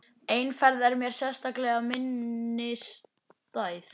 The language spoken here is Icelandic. Ein ferð er mér sérstaklega minnisstæð.